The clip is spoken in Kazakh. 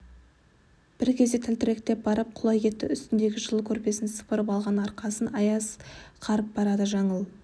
бір кезде тәлтіректеп барып құлай кетті үстіндегі жылы көрпесін сыпырып алған арқасын аяз қарып барады жаңыл